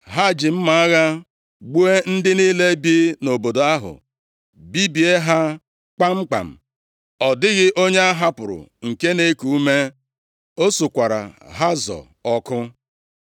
Ha ji mma agha gbuo ndị niile bi nʼobodo ahụ, bibie ha kpamkpam, ọ dịghị onye a hapụrụ nke na-eku ume. O sukwara Hazọ ọkụ.